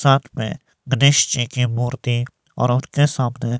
साथ में गनेश जी की मूर्ति और उनके सामने--